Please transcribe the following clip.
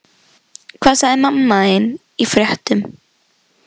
Hvað sagði mamma þín í fréttum?